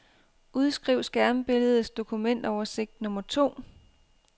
Udskriv skærmbilledets dokumentoversigt nummer to.